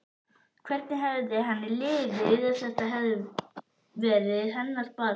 Hvernig hefði henni liðið ef þetta hefði verið hennar barn?